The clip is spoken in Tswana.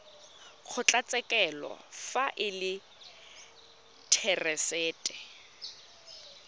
kgotlatshekelo fa e le therasete